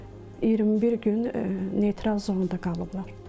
21 gün neytral zonda qalıblar.